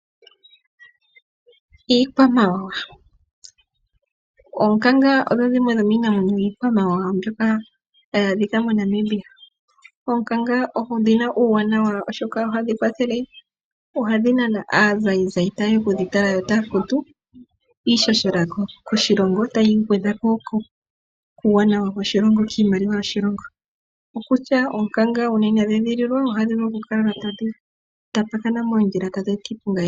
Iikwamawawa. Oonkanga odho dhimwe dhomiinamwenyo yiikwamawawa mbyoka hayi adhika mo Namibia. Oonkanga odhina uuwanwa oshoka ohadhi kwathele, ohadhi nana aazaizai tayeya okudhitala yo taya futu iishshela koshilongo tayi gwedha ko kuuwanawa woshilongo kiimaliwa yoshilongo okutya oonkanga nge inadhi edhililwa ohadhi vulu okukala tadhi tapakana moondjila tadhi eta iiponga